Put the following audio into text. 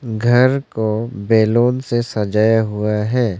घर को बैलून से सजाया हुआ है।